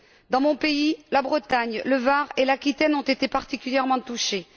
Dans mon pays, la Bretagne, le Var et l'Aquitaine ont été particulièrement touchés.